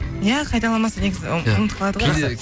иә қайталамаса негізі ұмытып қалады ғой